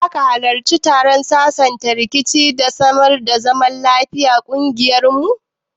Ko zaka hallarci taron sasanta rikici da samar da zaman lafiyan kungiyar mu?